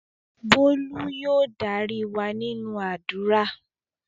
Bólú yóò darí wa nínú àdúrà